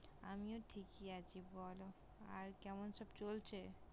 আমিও ঠিকই আছি । বল আর কেমন সব চলছে?